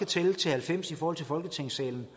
tælle til halvfems i forhold til folketingssalen